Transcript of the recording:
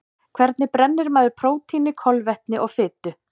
Hvernig brennir maður prótíni, kolvetni og fitu?